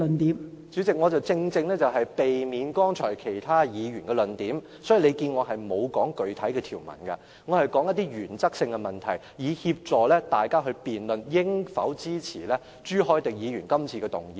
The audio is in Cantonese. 代理主席，正正為了避免提及其他議員剛才的論點，所以我並沒有提述具體條文，我說的是原則性的問題，旨在協助大家辯論應否支持朱凱廸議員今次提出的議案。